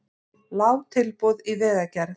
Lág tilboð í vegagerð